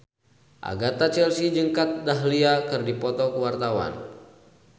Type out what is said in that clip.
Agatha Chelsea jeung Kat Dahlia keur dipoto ku wartawan